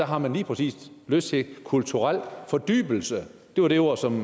har man lige præcis lyst til kulturel fordybelse det var de ord som